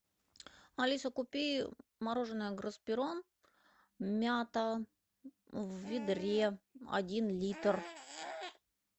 алиса купи мороженое гроспирон мята в ведре один литр